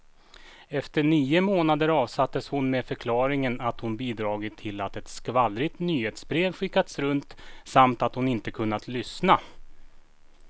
Efter nio månader avsattes hon med förklaringen att hon bidragit till att ett skvallrigt nyhetsbrev skickats runt, samt att hon inte kunnat lyssna.